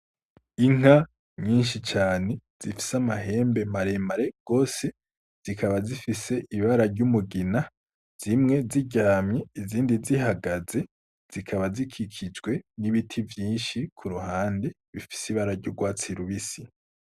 Inka nyinshi cane zifise amahembe maremare rwose zikaba zifise ibara ry'umugina zimwe ziryamye izindi zihagaze zikaba zikikijwe n'ibiti vyinshi ku ruhande bifise ibararya urwatsirubisi.